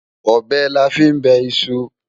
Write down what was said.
Ọbẹ̀ la fí ń bẹ iṣu.